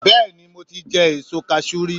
Bẹ́ẹ̀ni i mo ti jẹ èso kasú rí